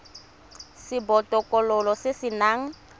sa botokololo se se nang